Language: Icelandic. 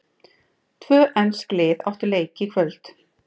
Tvö ensk lið áttu leiki í kvöld.